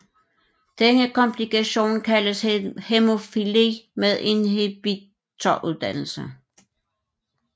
Denne komplikation kaldes hæmofili med inhibitordannelse